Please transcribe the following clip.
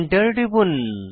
Enter টিপুন